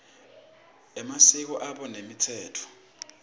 emasiko abo nemitsetfo